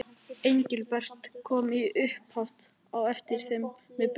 Engilbert kom í humátt á eftir þeim með Bigga.